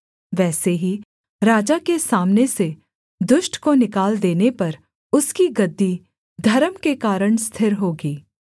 वैसे ही राजा के सामने से दुष्ट को निकाल देने पर उसकी गद्दी धर्म के कारण स्थिर होगी